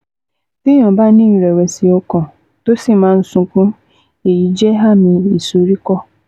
Téèyàn bá ní ìrẹ̀wẹ̀sì ọkàn, tó sì máa ń sunkún, èyí jẹ́ àmì ìsoríkọ́